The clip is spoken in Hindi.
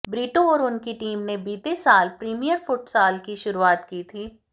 ब्रीटो और उनकी टीम ने बीते साल प्रीमियर फुटसाल की शुरुआत की थी